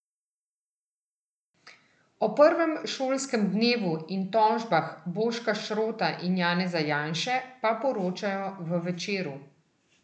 O prvem šolskem dnevu in tožbah Boška Šrota in Janeza Janše pa poročajo v Večeru.